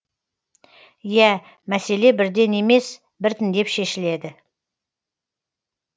иә мәселе бірден емес біртіндеп шешілді